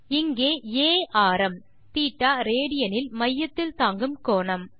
இங்கே ஆ ஆரம் θ ரேடியன் இல் மையத்தில் தாங்கும் கோணம்